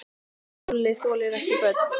Lúlli þolir ekki börn.